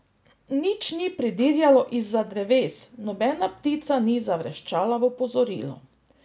Nič ni pridirjalo izza dreves, nobena ptica ni zavreščala v opozorilo.